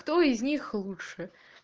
кто из них лучше